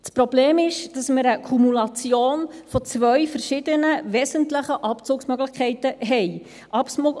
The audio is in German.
Das Problem ist, dass wir eine Kumulation von zwei verschiedenen, wesentlichen Abzugsmöglichkeiten haben.